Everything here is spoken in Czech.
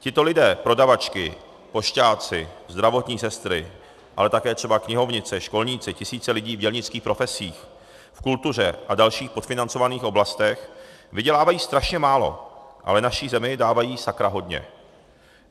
Tito lidé - prodavačky, pošťáci, zdravotní sestry, ale také třeba knihovnice, školníci, tisíce lidí v dělnických profesích, v kultuře a dalších podfinancovaných oblastech - vydělávají strašně málo, ale naší zemi dávají sakra hodně!